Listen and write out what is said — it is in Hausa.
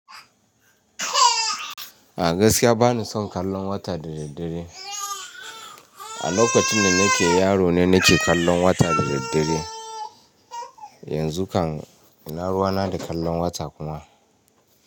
A gaskiya bani son kallon wata da daddare. A lokacin da nake yaro ne nake kallon wata da daddare. Yanzu kan ina ruwa na da kallon wata kuma.